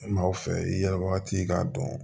Maaw fɛ i yɛrɛ wagati k'a dɔn